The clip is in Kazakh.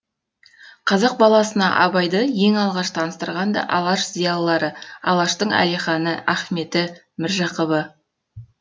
қазақ баласына абайды ең алғаш таныстырған да алаш зиялылары алаштың әлиханы ахметі міржақыбы